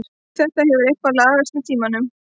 Þetta hefur eitthvað lagast með tímanum.